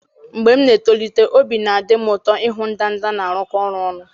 Mgbe m na-etolite, obi na-adị m ụtọ ịhụ ndanda na-arụkọ ọrụ ọnụ.